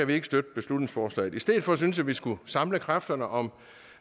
vi ikke støtte beslutningsforslaget i stedet for synes jeg at vi skulle samle kræfterne om